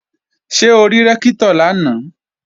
Ṣé o rí Rẹ́ktọ̀ lánàá?